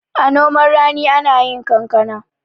a noman rani ana yi kankana